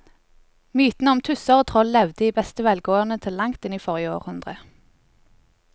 Mytene om tusser og troll levde i beste velgående til langt inn i forrige århundre.